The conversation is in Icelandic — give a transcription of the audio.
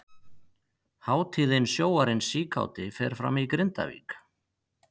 Hátíðin Sjóarinn síkáti fer fram í Grindavík.